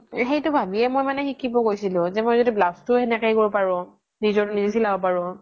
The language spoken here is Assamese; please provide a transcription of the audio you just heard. সেইতো ভাবিয়ে মই মানে শিকিব গইছিলো যে মই য্দি blouse এনেকে সেই কৰিব পাৰু নিজে চিলাব পাৰু